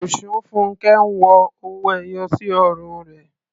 Osunfunke ń wọ owó ẹyọ sí ọrùn rẹ̀.